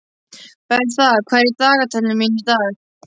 Bertha, hvað er í dagatalinu mínu í dag?